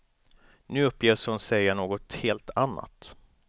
Nu uppges hon säga något helt annat.